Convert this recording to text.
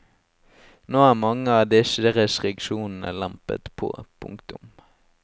Nå er mange av disse restriksjonene lempet på. punktum